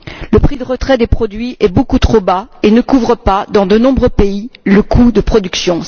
Le prix de retrait des produits est beaucoup trop bas et ne couvre pas, dans de nombreux pays, le coût de production.